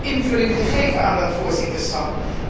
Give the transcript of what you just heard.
invulling gegeven aan dat voorzitterschap.